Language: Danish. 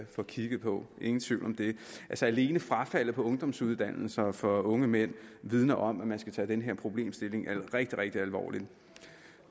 få kigget på ingen tvivl om det alene frafaldet på ungdomsuddannelser for unge mænd vidner om at man skal tage den her problemstilling rigtig rigtig alvorligt